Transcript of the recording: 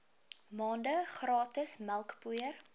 maande gratis melkpoeier